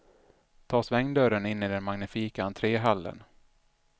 Ta svängdörren in i den magnifika entréhallen.